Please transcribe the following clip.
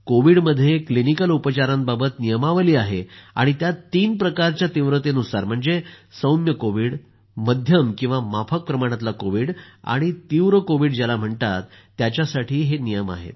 कोविडमध्ये क्लिनिकल उपचारांबाबत नियमावली आहे आणि त्यात तीन प्रकारच्या तीव्रतेनुसार म्हणजे सौम्य कोविड मध्यम किंवा माफक प्रमाणातला कोविड आणि तीव्र कोविड ज्याला म्हणतात त्याच्यासाठी हे नियम आहेत